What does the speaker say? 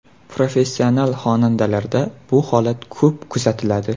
Professional xonandalarda bu holat ko‘p kuzatiladi.